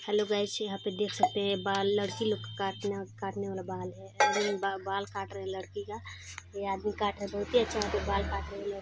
Hello guys यहाँ पे देख सकते है बाल लड़की लोग का काटन-काटने वाला बाल है बाल काट रहे लड़की का ये आदमी काट रहा बहुत ही अच्छा यहाँ पे बाल काट रहे है।